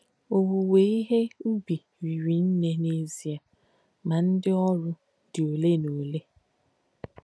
“Òwúwé íhe ùbì hìrì nnē n’ézíē, mà ndí òrū dí óle nà óle.”